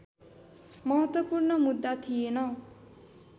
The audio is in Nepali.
महत्त्वपूर्ण मुद्दा थिएन